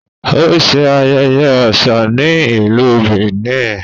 O ṣe ayẹyẹ aṣa ni Ilú Benin